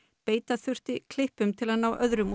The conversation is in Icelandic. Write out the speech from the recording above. beita þurfti klippum til að ná öðrum